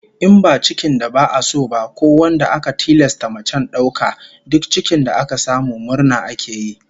In ba cikin da ba'a so ba, ko wanda aka tilasta mace dauka ba, duk cikin da aka samu murna ake yi